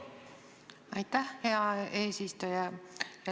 Aitäh, hea eesistuja!